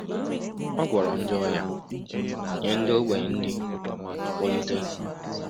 Ọ gwọrọ ndị ọrịa, nye ndị ogbenye nri, ma kpọlite